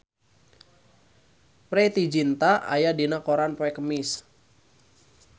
Preity Zinta aya dina koran poe Kemis